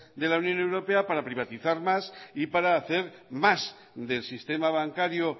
de la unión europea para privatizar más y para hacer más del sistema bancario